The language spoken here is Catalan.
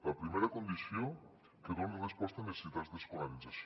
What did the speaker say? la primera condició que doni resposta a necessitats d’escolarització